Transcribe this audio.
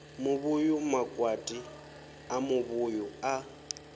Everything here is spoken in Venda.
muvhuyu makwati a muvhuyu a